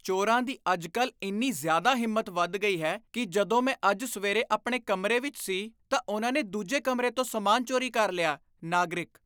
ਚੋਰਾਂ ਦੀ ਅੱਜਕੱਲ ਇੰਨੀ ਜ਼ਿਆਦਾ ਹਿੰਮਤ ਵੱਧ ਗਈ ਹੈ ਕੀ ਜਦੋਂ ਮੈਂ ਅੱਜ ਸਵੇਰੇ ਆਪਣੇ ਕਮਰੇ ਵਿੱਚ ਸੀ ਤਾਂ ਉਨ੍ਹਾਂ ਨੇ ਦੂਜੇ ਕਮਰੇ ਤੋਂ ਸਮਾਨ ਚੋਰੀ ਕਰ ਲਿਆ ਨਾਗਰਿਕ